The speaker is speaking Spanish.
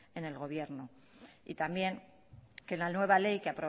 en el gobierno y también que la nueva ley que